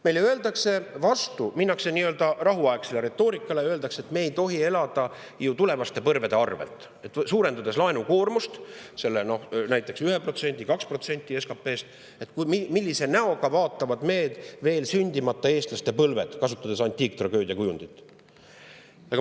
Meile öeldakse vastu, minnes üle nii-öelda rahuaegsele retoorikale, et me ei tohi elada ju tulevaste põlvede arvelt, suurendades laenukoormust näiteks 1% või 2% SKP‑st. Millise näoga vaatavad meid veel sündimata eestlaste põlved, kui kasutada antiiktragöödia kujundit?